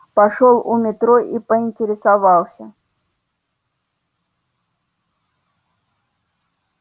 пошёл у метро и поинтересовался